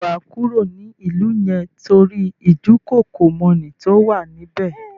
Ṣé wà á kúrò ní ìlú yẹn tórí ìdúkookòmọ́ni tó wà ní bẹ̀?